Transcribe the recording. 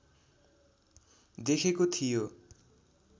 देखेको थियो